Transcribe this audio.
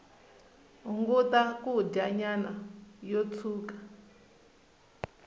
hunguta kudya nyama yo tshuka